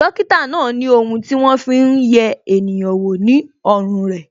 Dókítà náà ni ohun ti won Fi hun ye eniyan wo ní ọrùn re